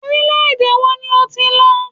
Orílẹ-èdè wo ni o ti lọ?